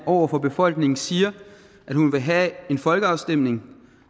over for befolkningen siger at hun vil have en folkeafstemning